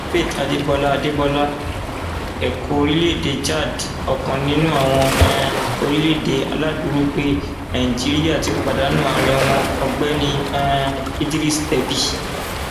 faith adébọlá adébọlá ẹkọ orílẹèdè chad ọkan nínú àwọn um orílẹèdè aláàdúrógbè nàíjíríà ti pàdánù ààrẹ wọn ọgbẹni um idriss deby